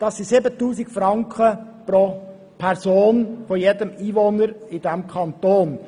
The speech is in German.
Das sind 7000 Franken pro Einwohner des Kantons.